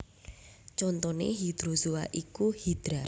Contoné hydrozoa iku Hydra